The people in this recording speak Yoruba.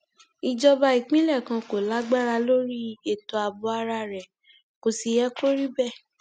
ìjọba ìpínlẹ kan kò lágbára lórí ètò ààbò ara rẹ kò sì yẹ kó rí bẹẹ